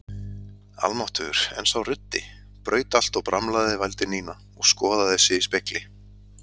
Almáttugur, en sá ruddi, braut allt og bramlaði vældi Nína og skoðaði sig í spegli.